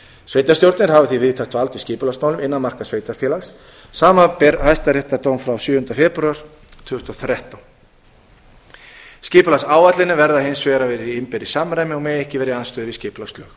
sveitarstjórnir hafa því víðtækt vald í skipulagsmálum innan marka sveitarfélags samanber hæstaréttardóm frá sjöunda febrúar tvö þúsund og þrettán skipulagsáætlanir þeirra verða hins vegar að vera í innbyrðis samræmi og mega ekki